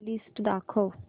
list दाखव